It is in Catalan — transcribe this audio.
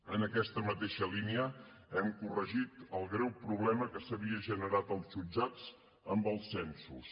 en aquesta mateixa línia hem corregit el greu problema que s’havia generat als jutjats amb els censos